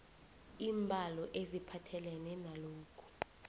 iimbalo eziphathelene nalokhu